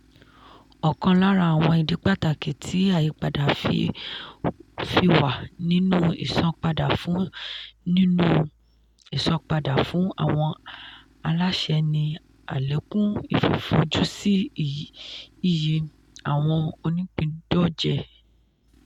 ọkàn lára àwọn ìdí pàtàkì tí àyípadà fi wà nínú ìsanpadà fún nínú ìsanpadà fún àwọn aláṣẹ ni àlékún fífojúsí iyì àwọn onípìńdọ̀jẹ̀